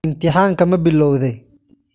Imtixaanka ma bilowday?